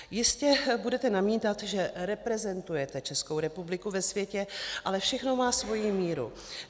Jistě budete namítat, že reprezentujete Českou republiku ve světě, ale všechno má svoji míru.